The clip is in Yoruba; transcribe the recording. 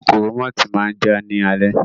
Kòkòrò mọ́tì máa jà ní alẹ́